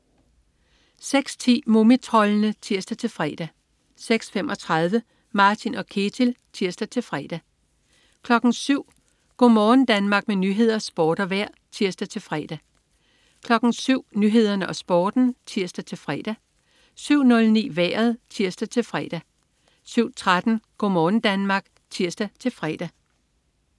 06.10 Mumitroldene (tirs-fre) 06.35 Martin & Ketil (tirs-fre) 07.00 Go' morgen Danmark. Med nyheder, sport og vejr (tirs-fre) 07.00 Nyhederne og Sporten (tirs-fre) 07.09 Vejret (tirs-fre) 07.13 Go' morgen Danmark (tirs-fre)